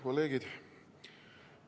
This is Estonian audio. Kolleegid!